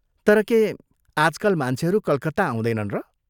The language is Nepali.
तर के आजकाल मान्छेहरू कलकत्ता आउँदैनन् र?